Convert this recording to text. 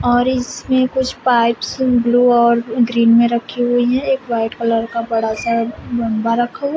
और इसमें कुछ पाइप्स ब्लू और ग्रीन में रखी हुई है एक व्हाइट कलर का बड़ा सा बम्बा रखा हुआ--